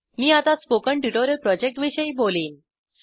मी आता spoken tutorial प्रोजेक्टविषयी बोलेन